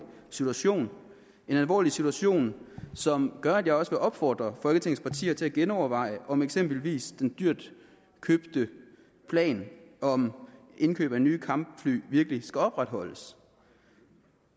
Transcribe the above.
situation en alvorlig situation som gør at jeg også vil opfordre folketingets partier til at genoverveje om eksempelvis den dyre plan om indkøb af nye kampfly virkelig skal opretholdes